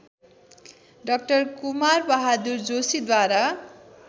डा कुमारबहादुर जोशीद्वारा